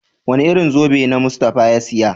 Wane irin zobe na Mustapha ya saya?